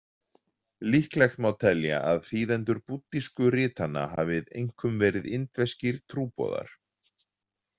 Líklegt má telja að þýðendur búddísku ritanna hafi einkum verið indverskir trúboðar.